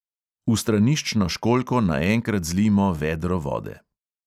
V straniščno školjko naenkrat zlijmo vedro vode.